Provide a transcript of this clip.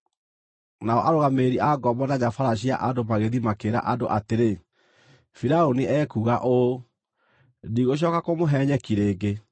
Nao arũgamĩrĩri a ngombo na nyabaara cia andũ magĩthiĩ makĩĩra andũ atĩrĩ, “Firaũni ekuuga ũũ: ‘Ndigũcooka kũmũhe nyeki rĩngĩ.